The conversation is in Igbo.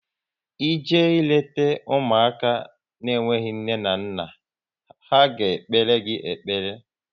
Ị je leta ụmụaka na enweghị nne na nna ha, a ga-ekpere gị ekpere